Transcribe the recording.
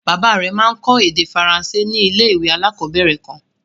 Bàbá rẹ̀ máa ń kọ́ èdè Faransé ní ilé-ìwé alákọ̀ọ̀bẹ̀rẹ̀ kan.